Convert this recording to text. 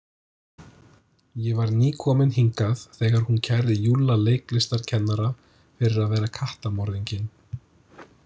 Ég var nýkominn hingað þegar hún kærði Júlla leiklistarkennara fyrir að vera kattamorðinginn.